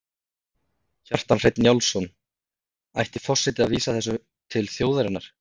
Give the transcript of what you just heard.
Kjartan Hreinn Njálsson: Ætti forseti að vísa þessu til þjóðarinnar?